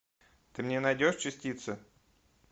ты мне найдешь частицы